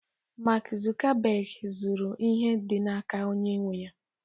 Mark Zuckerberg zụru ihe dị n'aka onye nwe ya